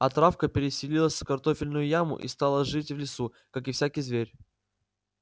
а травка переселилась в картофельную яму и стала жить в лесу как и всякий зверь